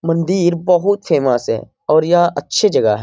मंदिर बहुत फेमस है और यह अच्छे जगह है।